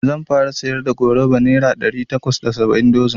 Zan fara siyar da goruba nera ɗari takwas da saba'in dozin